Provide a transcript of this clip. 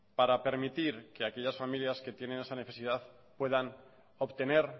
para permitir que aquellas familias que tienen esa necesidad puedan obtener